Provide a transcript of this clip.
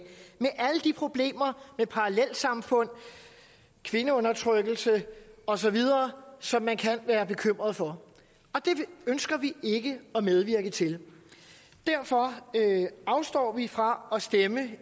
problemer med parallelsamfund kvindeundertrykkelse osv som man kan være bekymret for og det ønsker vi ikke at medvirke til derfor afstår vi fra at stemme